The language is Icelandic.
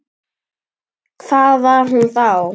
Hvað var hún þá?